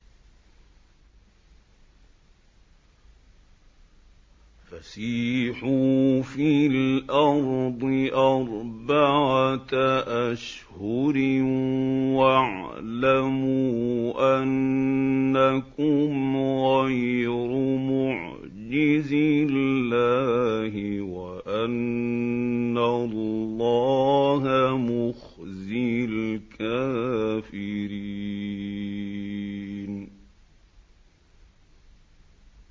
فَسِيحُوا فِي الْأَرْضِ أَرْبَعَةَ أَشْهُرٍ وَاعْلَمُوا أَنَّكُمْ غَيْرُ مُعْجِزِي اللَّهِ ۙ وَأَنَّ اللَّهَ مُخْزِي الْكَافِرِينَ